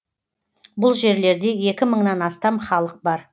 бұл жерлерде екі мыңнан астам халық бар